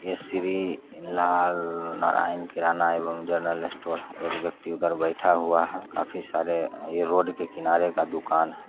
ये श्री लाल नारायण किराना एवं जनरल स्टोर है एक व्यक्ति उधर बैठा हुवा है काफी सारे ये रोड के किनारे का दुकान है ।